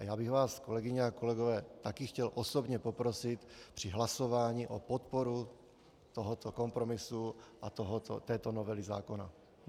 A já bych vás, kolegyně a kolegové, také chtěl osobně poprosit při hlasování o podporu tohoto kompromisu a této novely zákona.